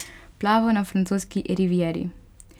Plaval na francoski rivieri.